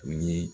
U ye